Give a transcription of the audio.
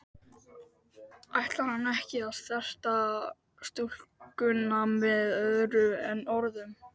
Ætlar hann ekki að snerta stúlkuna með öðru en orðum?